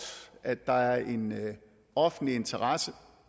at der er en offentlig interesse